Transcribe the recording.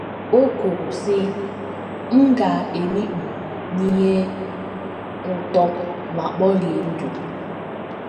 O kwuru, sị: “ M ga - emikpu n’ihe ụtọ ma kporie ndụ. ”